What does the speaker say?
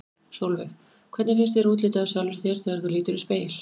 Sólveig: Hvernig finnst þér útlitið á sjálfri þér þegar þú lítur í spegil?